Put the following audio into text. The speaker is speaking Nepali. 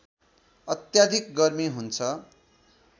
अत्याधिक गर्मी हुन्छ